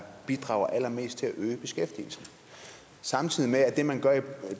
bidrager allermest til at øge beskæftigelsen samtidig med